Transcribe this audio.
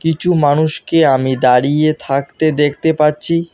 কিছু মানুষকে আমি দাঁড়িয়ে থাকতে দেখতে পাচ্ছি।